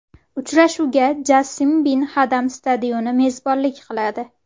Uchrashuvga Jassim Bin Hadam stadioni mezbonlik qiladi.